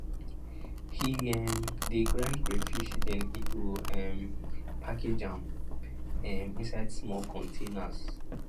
he um de grind crayfish den he go um package am um inside small containers